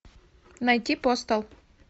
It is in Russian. найти постал